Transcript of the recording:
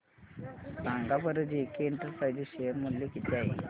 सांगा बरं JK enterprises share मूल्य किती आहे